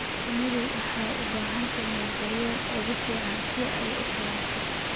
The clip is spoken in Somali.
Shinnidu waxay u baahan tahay deegaanka ugu fiican si ay u koraan.